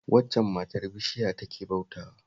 Waccan matar bishiya take bautawa